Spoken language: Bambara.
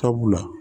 Sabula